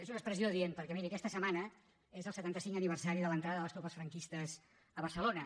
és un expressió adient perquè miri aquesta setmana és el setanta cinc aniversari de l’entrada de les tropes franquistes a barcelona